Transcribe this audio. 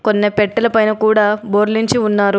కొన్ని పెట్టెల పైన కూడా బోర్లించి ఉన్నారు.